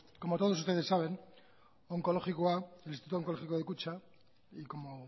como ustedes saben onkologikoa el instituto oncológico de kutxa y como